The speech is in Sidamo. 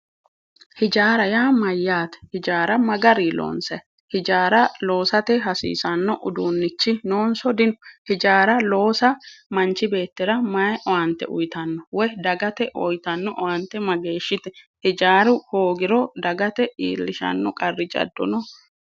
Hijaara yaa mayaate, hijaara mayi garinni loonsanni ,hijaara loosate hasiisano uduunichi noonso dino, hijaara loosa manchi beetira mayi owaante uyittano woyi dagate uyittano owaante mageeshshite ,hijaaru hoogiro dagate iillishano qarri jado no ?